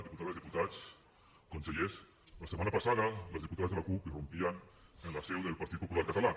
diputades diputats consellers la setmana passada les diputades de la cup irrompien en la seu del partit popular català